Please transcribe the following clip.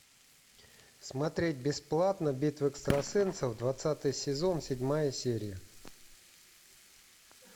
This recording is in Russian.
смотреть бесплатно битва экстрасенсов двадцатый сезон седьмая серия